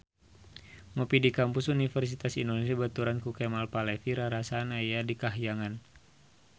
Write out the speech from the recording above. Ngopi di Kampus Universitas Indonesia dibaturan ku Kemal Palevi rarasaan aya di kahyangan